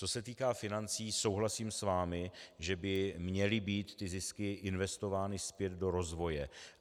Co se týká financí, souhlasím s vámi, že by měly být ty zisky investovány zpět do rozvoje.